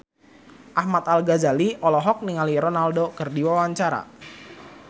Ahmad Al-Ghazali olohok ningali Ronaldo keur diwawancara